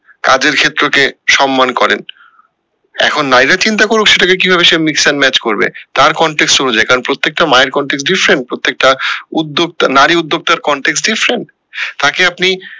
কাজের ক্ষেত্র কে সম্মান করেন এখন নারীরা চিন্তা করুক সেটা কে কিভাবে same match করবে তার অনুযায়ী কারণ প্রত্যেকটা মায়ের প্রত্যেকটা উদ্যোগ নারী উদ্দোগতার তাকে আপনি